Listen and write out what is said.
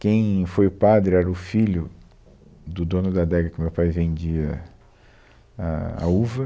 Quem foi o padre era o filho do dono da adega que meu pai vendia a, a uva.